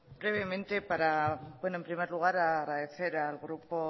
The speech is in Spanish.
brevemente para en primer lugar agradecer al grupo